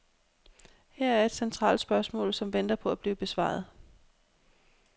Her er et centralt spørgsmål, som venter på at blive besvaret.